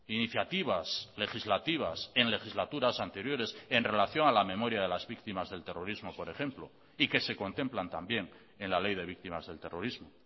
iniciativas legislativas en legislaturas anteriores en relación a la memoria de las víctimas del terrorismo por ejemplo y que se contemplan también en la ley de víctimas del terrorismo